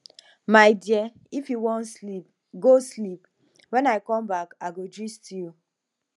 my dear if you wan sleep go sleep wen i come back i go gist you